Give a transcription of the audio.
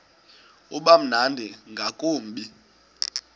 uba mnandi ngakumbi